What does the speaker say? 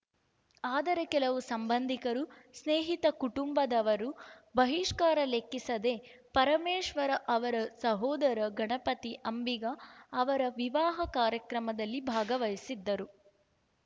ಆದರೆ ಕೆಲವು ಸಂಬಂಧಿಕರು ಸ್ನೇಹಿತ ಕುಟುಂಬದವರು ಬಹಿಷ್ಕಾರ ಲೆಕ್ಕಿಸದೆ ಪರಮೇಶ್ವರ ಅವರ ಸಹೋದರ ಗಣಪತಿ ಅಂಬಿಗ ಅವರ ವಿವಾಹ ಕಾರ್ಯಕ್ರಮದಲ್ಲಿ ಭಾಗವಹಿಸಿದ್ದರು